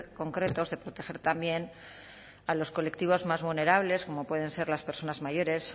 concretos de proteger también a los colectivos más vulnerables como pueden ser las personas mayores